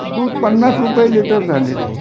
दुध पन्नास रुपये लिटर झालेल आहे